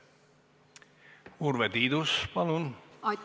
Urve Tiidus, palun!